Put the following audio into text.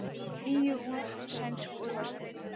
Níu úr sænsku úrvalsdeildinni